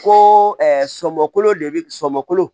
Ko sɔmɔkolo de be sɔmɔ kolo